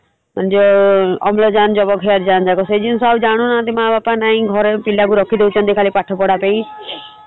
ଯଉ ଅମ୍ଳଜାନ ଯବକ୍ଷାରଜାନ ସେଇ ଜିନିଷ ଆଉ ଜାଣୁ ନାହାନ୍ତି ମା ବାପା ନାହିଁ ଘରେ ପିଲାକୁ ରଖିଦଉଛନ୍ତି ଖାଲି ପାଠପଢା ପାଇଁ